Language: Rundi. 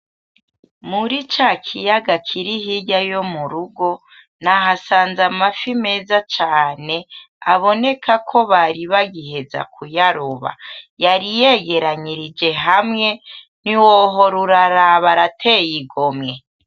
Muri ca kiyaga kiri hirya yo murugo nahasanze amafi meza cane aboneka ko bari bagiheza kuyaroba yari yegeranirije hamwe ntiwohora uraraba arateye igomwe.